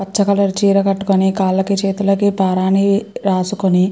పచ colour చిరకతుకొని కల్లకి చేతుల్లకి పారని రాసుకొని --